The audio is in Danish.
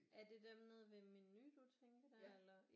Er det dem nede ved Menu du tænker der eller